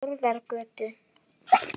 Þórðargötu